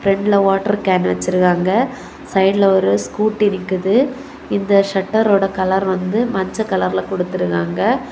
பிரண்ட்ல water can வச்சிருக்காங்க சைடுல ஒரு ஸ்கூட்டி இருக்குது இந்த ஷட்டர்ரோட கலர் வந்து மஞ்ச கலர்ல கொடுத்திருக்காங்க.